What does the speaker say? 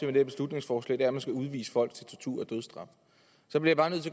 det her beslutningsforslag er at man skal udvise folk til tortur og dødsstraf så bliver